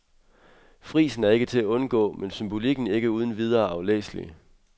Frisen er ikke til at undgå, men symbolikken ikke uden videre aflæselig.